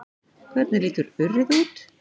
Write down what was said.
Hvernig lítur urriði út?